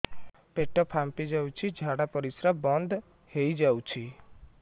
ପେଟ ଫାମ୍ପି ଯାଉଛି ଝାଡା ପରିଶ୍ରା ବନ୍ଦ ହେଇ ଯାଉଛି